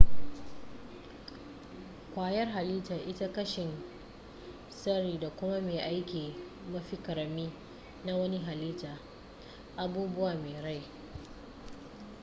kwayar hallita ita kashin tsari da kuma mai aiki mafi ƙarami na wani hallita abubuwa mai rai